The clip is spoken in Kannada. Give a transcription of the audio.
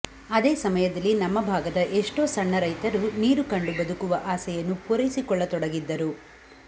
ಅದೇ ಸಮಯದಲ್ಲಿ ನಮ್ಮ ಭಾಗದ ಎಷ್ಟೋ ಸಣ್ಣ ರೈತರು ನೀರು ಕಂಡು ಬದುಕುವ ಆಸೆಯನ್ನು ಪೂರೈಸಿಕೊಳ್ಳತೊಡಗಿದ್ದರು